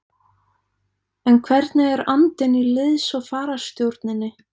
En hvernig er andinn í liðs- og fararstjórninni?